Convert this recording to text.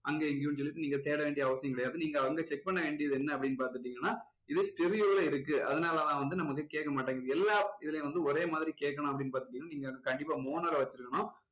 அங்க இங்கயும் சொல்லிட்டு நீங்க தேட வேண்டிய அவசியம் கிடையாது நீங்க வந்து check பண்ண வேண்டியது என்ன அப்படின்னு பாத்துட்டீங்கன்னா இது stereo ல இருக்கு அதனால தான் வந்து நமக்கு வந்து கேக்க மாட்டேங்குது எல்லா இதுலேயும் வந்து ஒரே மாதிரி கேக்கணும் அப்படின்னு பாத்துட்டீங்கன்னா நீங்க வந்து கண்டிப்பா mono ல வச்சுருக்கணும்